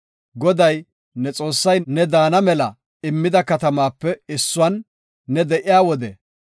Goday, ne Xoossay ne daana mela immida katamaape issuwan ne de7iya wode,